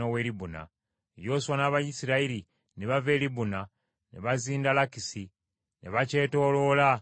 Yoswa n’Abayisirayiri ne bava e Libuna ne bazinda Lakisi, ne bakyetooloola ne bakikuba.